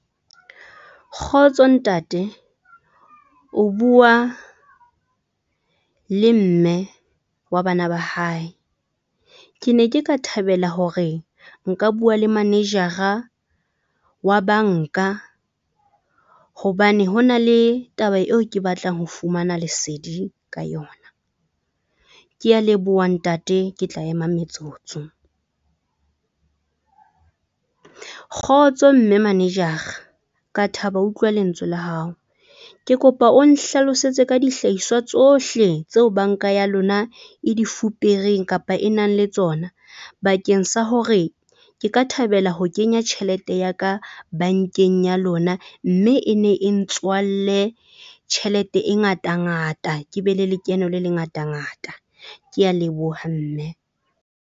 Kgotso ntate o bua le mme wa bana ba hae. Ke ne ke ka thabela hore nka bua le manejara wa bank-a hobane hona le taba eo ke batlang ho fumana lesedi ka yona. Ke a leboha ntate, ke tla ema metsotso. Kgotso mme manejara ka thaba ho utlwa lentswe la hao. Ke kopa o nhlalosetse ka dihlahiswa tsohle tseo bank-a ya lona e di fupereng kapa e nang le tsona bakeng sa hore ke ka thabela ho kenya tjhelete ya ka bank-eng ya lona. Mme e ne e ntswalle tjhelete e ngata ngata, ke be le lekeno le le ngata ngata. Ke a leboha mme.